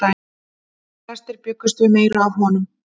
Flestir bjuggust við meiru af honum.